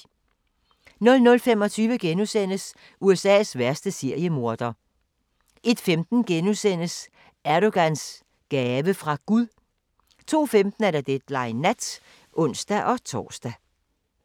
00:25: USA's værste seriemorder * 01:15: Erdogans gave fra Gud * 02:15: Deadline Nat (ons-tor)